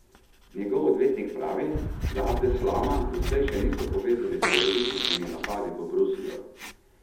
Njegov odvetnik pravi, da Abdeslama doslej še niso povezali s terorističnimi napadi v Bruslju.